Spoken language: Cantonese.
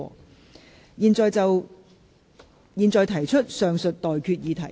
我現在向各位提出上述待決議題。